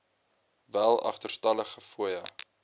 wel agterstallige fooie